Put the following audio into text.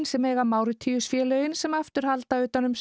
sem eiga Máritíus félögin sem aftur halda utan um